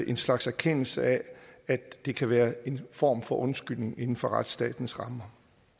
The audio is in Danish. en slags erkendelse af at det kan være en form for undskyldning inden for retsstatens rammer